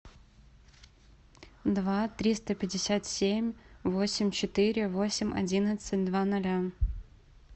два триста пятьдесят семь восемь четыре восемь одиннадцать два ноля